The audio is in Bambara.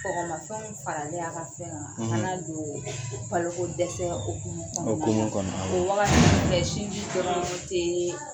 Kɔgɔmafɛnw faralen a ka fɛn kan o fana na don baloko dɛsɛ okumu kɔnɔ okumu kɔnɔ o wagati tɛ sinji dɔrɔn tee